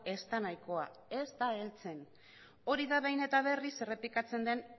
ez da nahikoa ez da heltzen hori da behin eta berriz errepikatzen den